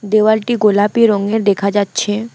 দেওয়ালটি গোলাপি রঙের দেখা যাচ্ছে।